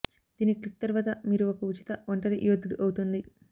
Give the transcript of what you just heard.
దీన్ని క్లిక్ తరువాత మీరు ఒక ఉచిత ఒంటరి యోధుడు అవుతుంది